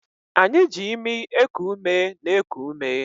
Anyị ji imi eku umena-eku ume